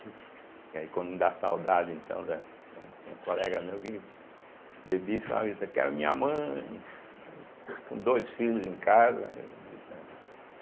Porque aí quando dá saudade, então da, tinha, tinha colega meu que bebia e ficava gritando, quero minha mãe, com dois filhos em casa, gritando.